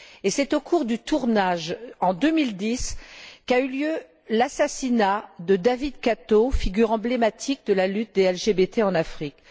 C'est au cours du tournage, en 2010, qu'a eu lieu l'assassinat de David Kato, figure emblématique de la lutte des LGBT en Afrique.